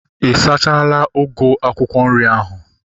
Ị sachala ugu akwụkwọ nri ahu?